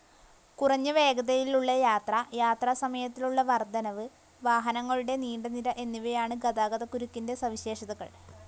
കുറഞ്ഞ വേഗതയിലുള്ളയാത്ര, യാത്രാസമയത്തിലുള്ള വർദ്ധനവ്, വാഹനങ്ങളുടെ നീണ്ടനിര എന്നിവയാണു ഗതാഗതക്കുരുക്കിന്റെ സവിശേഷതകൾ.